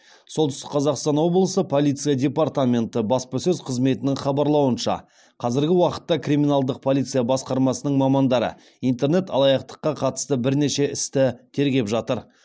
солтүстік қазақстан облысы полиция департаменті баспасөз қызметінің хабарлауынша қазіргі уақытта криминалдық полиция басқармасының мамандары интернет алаяқтыққа қатысты бірнеше істі тергеп жатыр